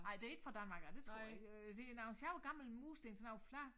Ej det ikke fra Danmark af det tror jeg ik øh det nogen sjove gamle mursten sådan nogen flade